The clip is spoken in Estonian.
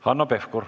Hanno Pevkur.